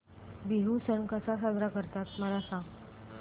बिहू सण कसा साजरा करतात मला सांग